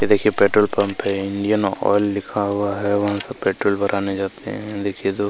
ये देखिए petrol pump है इंडियन ऑयल लिखा हुआ है वहां सब पेट्रोल भराने जाते हैं ये देखिए तो--